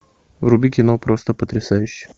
вруби кино просто потрясающе